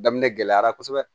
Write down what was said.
Daminɛ gɛlɛyara kosɛbɛ